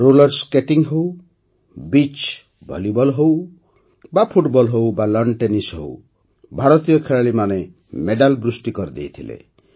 roller skating ହେଉ beach volleyball ହେଉ ବା ଫୁଟବଲ ହେଉ ବା ଲାନ୍ ଟେନିସ୍ ହେଉ ଭାରତୀୟ ଖେଳାଳିମାନେ ମେଡାଲ ବୃଷ୍ଟି କରିଦେଇଥିଲେ